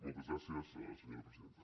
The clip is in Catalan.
moltes gràcies senyora presidenta